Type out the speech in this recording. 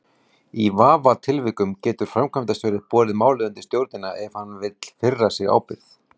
Í vafatilvikum getur framkvæmdastjóri borið málið undir stjórnina ef hann vill firra sig ábyrgð.